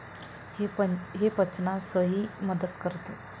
हे पचनासही मदत करते.